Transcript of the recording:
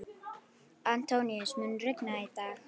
Antóníus, mun rigna í dag?